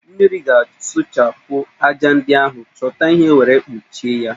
Mmiri ga-asụchapụ ájá ndi ahụ, chọta ihe were kpụchie ya